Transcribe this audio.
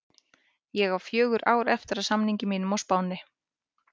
Ég á fjögur ár eftir af samningi mínum á Spáni.